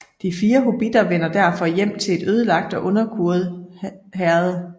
De fire hobbitter vender derfor hjem til et ødelagt og underkuet Herred